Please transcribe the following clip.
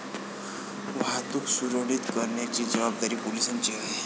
वाहतुक सुरळीत करण्याची जबाबदारी पोलिसांची आहे.